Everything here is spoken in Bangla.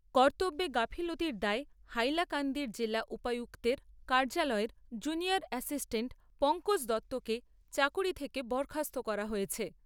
কর্তব্যে গাফিলতির দায়ে হাইলাকান্দির জেলা উপায়ুক্তের কার্যালয়ের জুনিয়র এ্যাসিসটান্ট পঙ্কজ দত্তকে চাকুরী থেকে বরখাস্ত করা হয়েছে।